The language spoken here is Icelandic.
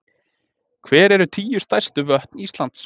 Hver eru tíu stærstu vötn Íslands?